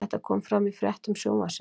Þetta kom fram í fréttum Sjónvarpsins